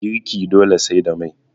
girki dole sai da Mai